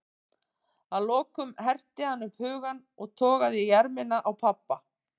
Að lokum herti hann upp hugann og togaði í ermina á pabba.